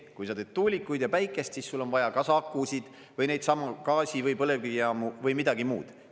Kui sa teed tuulikuid ja päikest, siis sul on vaja kas akusid või neidsamu gaasi- või põlevkivijaamu või midagi muud.